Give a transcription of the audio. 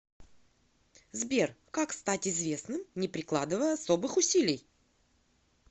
сбер как стать известным не прикладывая особых усилий